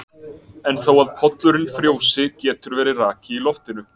En þó að pollurinn frjósi getur verið raki í loftinu.